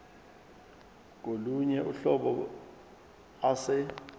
kolunye uhlobo ase